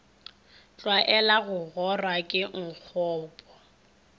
tlwaela go gora ke nkgopo